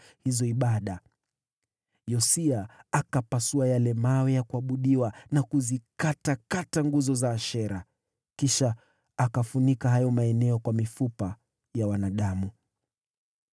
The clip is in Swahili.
Yosia akapasua yale mawe ya kuabudiwa na kuzikatakata nguzo za Ashera. Kisha akafunika hayo maeneo kwa mifupa ya wanadamu.